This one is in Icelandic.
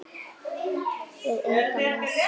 Við engan að sakast